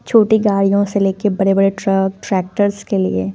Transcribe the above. छोटी गाड़ियों से लेके बड़े बड़े ट्रक ट्रैक्टर्स के लिए।